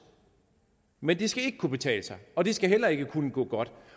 men det skal ikke kunne betale sig og det skal heller ikke kunne gå godt